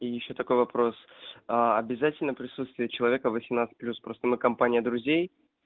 и ещё такой вопрос а обязательно присутствие человека восемнадцать плюс просто мы компания друзей